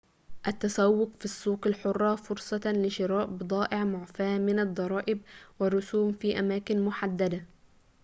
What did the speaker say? التسوق في السوق الحرة فرصة لشراء بضائع معفاة من الضرائب والرسوم في أماكن محددة